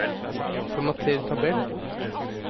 Formater tabell